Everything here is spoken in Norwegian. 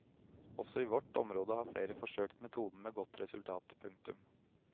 Også i vårt område har flere forsøkt metoden med godt resultat. punktum